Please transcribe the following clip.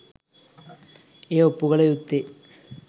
එය ඔප්පු කල යුත්තේ